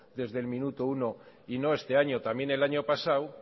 desde el minuto uno y no este año también el año pasado